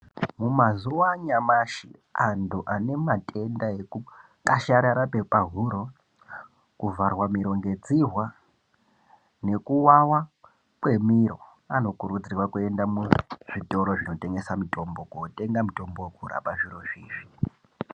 Mumazuwa anyamashi antu anematenda ekukwasharara kwepahuro, kuvharwa miro ngedzihwa nekuwawa kwemiro vanokuudzirwa kuende muzvitoro zvinotengese mitombo kotenge mutombo wekurape zvirozvi izvi.